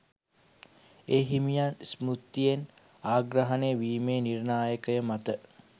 ඒ හිමියන් ස්මෘතියෙන් අග්‍රගණ්‍යයවීමේ නිර්ණායක මතය